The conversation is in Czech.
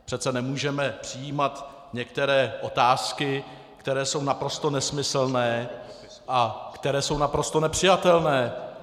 Přece nemůžeme přijímat některé otázky, které jsou naprosto nesmyslné a které jsou naprosto nepřijatelné.